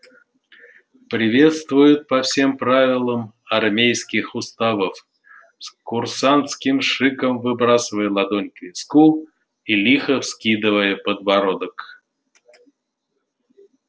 приветствуют по всем правилам армейских уставов с курсантским шиком выбрасывая ладонь к виску и лихо вскидывая подбородок